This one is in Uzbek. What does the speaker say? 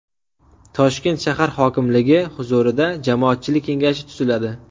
Toshkent shahar hokimligi huzurida jamoatchilik kengashi tuziladi.